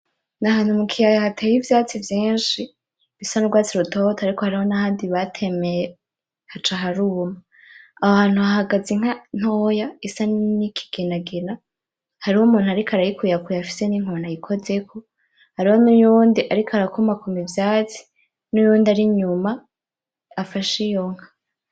Nahantu mukeya hateye ivyatsi vyinshi bisa nubwatsi butoto, ariko hariho nahandi batemye haca haruma. Ahantu hahagaze inka ntoya isa nkigenagena hariho numuntu ariko arakuyakuya afise ninkoni ayikozeko, hariho nuwundi ariko arakomakoma ivyatsi, nuwundi ari nyuma afashe iyo nka.